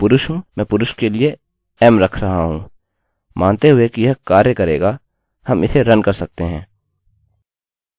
किन्तु इससे पहले हम अंत में mysql error का अनुकरण करके or die लिख सकते हैं